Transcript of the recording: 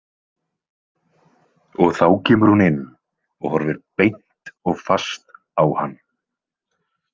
Og þá kemur hún inn og horfir beint og fast á hann.